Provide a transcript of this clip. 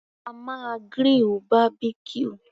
A máa grill Barbecue.